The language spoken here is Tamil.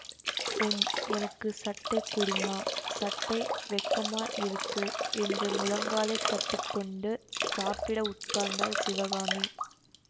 உம் எனக்கு சட்டை குடும்மா சட்டை வெக்கமா இருக்கு என்று முழங்காலை கட்டி கொண்டு சாப்பிட உட்கார்ந்தாள் சிவகாமி